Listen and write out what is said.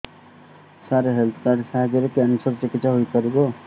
ସାର health card ସାହାଯ୍ୟରେ cancer ର ଚିକିତ୍ସା ହେଇପାରିବ